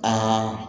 Aa